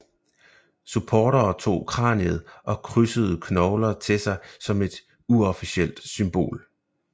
Supportere tog kraniet og krydsede knogler til sig som et uofficielt symbol